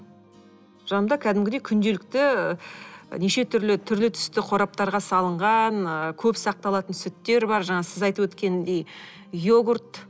жанымда кәдімгідей күнделікті неше түрлі түрлі түсті қораптарға салынған ы көп сақталатын сүттер бар жаңағы сіз айтып өткендей йогурт